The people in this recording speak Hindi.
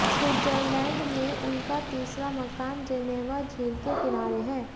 स्विट्जरलैंड में उनका तीसरा मकान जेनेवा झील के किनारे है